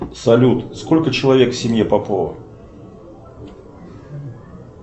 салют сколько человек в семье попова